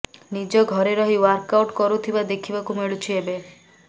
ନିଜ ଘରେ ରହି ଓ୍ୱାର୍କ ଆଉଟ କରୁଥିବା ଦେଖିବାକୁ ମିଳୁଛି ଏବେ